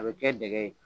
A bɛ kɛ dingɛ ye